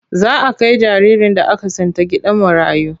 Za a kai jaririn da aka tsinta gidan marayu.